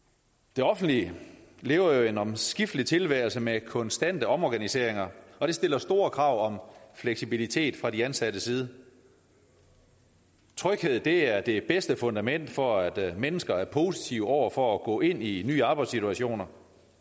det offentlige lever jo en omskiftelig tilværelse med konstante omorganiseringer og det stiller store krav om fleksibilitet fra de ansattes side tryghed er det bedste fundament for at mennesker er positive over for at gå ind i nye arbejdssituationer